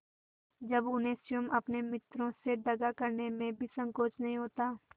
जब उन्हें स्वयं अपने मित्रों से दगा करने में भी संकोच नहीं होता